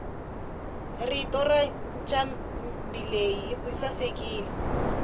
rito rancambileyi risasekile